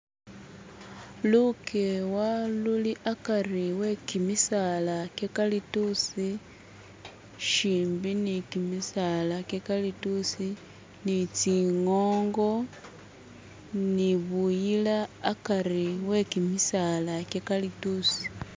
Lukewa luli hakari wekimisaala gye kalitusi shimbi ni kimisaala gye kalitusi ni tsi ngongo ni buyila hakari wekimisaala gye kalitusi